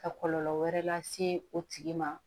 Ka kɔlɔlɔ wɛrɛ lase o tigi ma